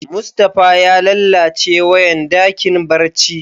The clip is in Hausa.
Mustapha ya lallace wayan dakin barci.